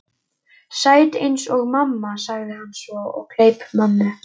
Sæt eins og mamma, sagði hann svo og kleip mömmu.